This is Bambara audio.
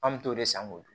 An m'o t'o de san k'o dun